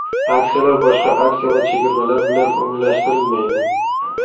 Aksiyalar boshqa aksiya va chegirmalar bilan umumlashtirilmaydi.